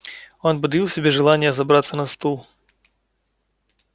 он подавил в себе желание забраться на стул